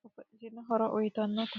babbaxitino horo uyitannote